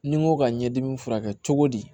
Ni n ko ka ɲɛdimi furakɛ cogo di